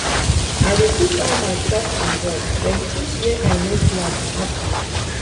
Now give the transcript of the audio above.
I dey put all my trust in God wen tins wey I no plan happen.